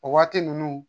O waati ninnu